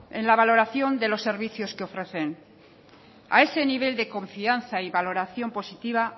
en la valoración de los servicios que ofrecen a ese nivel de confianza y valoración positiva